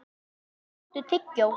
Allar tiltækar klukkur byrja að tifa.